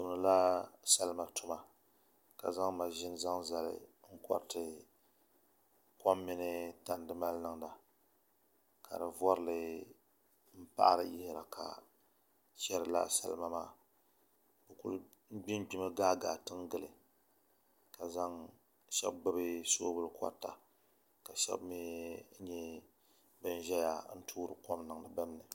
Bi tumdila salima tuma tuma ka zaŋ maʒini zaŋ zali n koriti kom mini tandi mali niŋda ka di vorili n paɣari yiɣiri ka chɛri laa salima maa bi ku gbingbimi gaai gaai tiŋ gili ka shab gbubi soobuli korita ka shab mii nyɛ bin ʒɛya n toori kom niŋdiba dinni